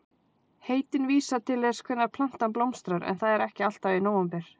Heitin vísa til þess hvenær plantan blómstrar en það er ekki alltaf í nóvember.